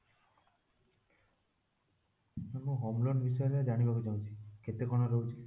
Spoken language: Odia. Ma'am ମୁଁ home loan ବିଷୟରେ ଜାଣିବାକୁ ଚାହୁଁଛି କେତେ କଣ ରହୁଛି?